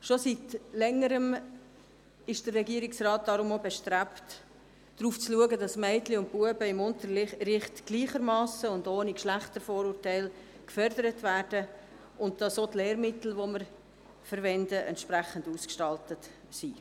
Schon seit längerer Zeit ist der Regierungsrat deshalb bestrebt, darauf zu achten, dass Mädchen und Jungs im Unterricht gleichermassen und ohne Geschlechtervorurteil gefördert werden und dass auch die verwendeten Lehrmittel entsprechend ausgestaltet sind.